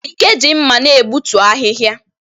Ike ji mmà na egbutu ahịhịa.